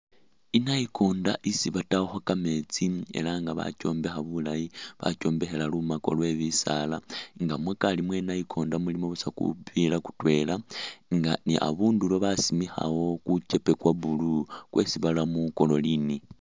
Inayikonda isi batayakho kameetsi elah nga bakyombekha bulaayi, bakhombekhela lumako lwe'bisaala nga mukari mwenayikonda mulimo buusa kupila kutwela nga ni abundulo basimikhawo kuchepe kwa'blue kwesi baramo chlorine